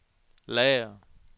lager